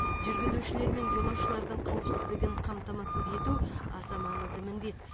жүргізушілер мен жолаушылардың қауіпсіздігін қамтамасыз ету аса маңызды міндет